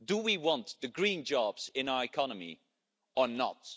Do we want the green jobs in our economy or not?